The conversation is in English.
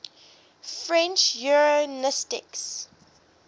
french eugenicists